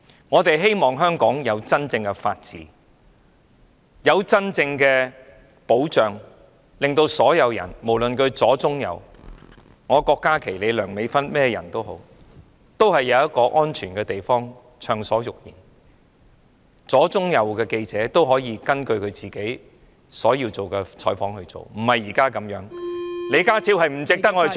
我們希望香港享有真正的法治和真正的保障，讓所有人——不分左、中、右——包括郭家麒議員、梁美芬議員，以及其他人，都可以在一個安全的地方暢所欲言，而左、中、右的記者亦可以根據自己的意願進行採訪，而非一如現時的情況般......